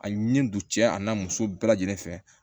A ɲi don cɛ a n'a muso bɛɛ lajɛlen fɛ